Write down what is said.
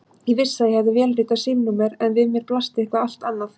Ég vissi að ég hafði vélritað símanúmer en við mér blasti eitthvað allt annað.